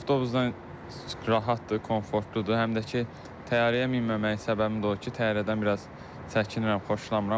Avtobusdan rahatdır, komfortludur, həm də ki, təyyarəyə minməməyim səbəbi də odur ki, təyyarədən biraz çəkinirəm, xoşlamıram.